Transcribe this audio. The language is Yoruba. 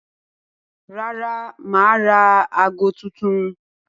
Rárá, mà á ra aago tuntun.